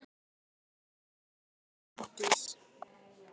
Þín nafna, Arndís.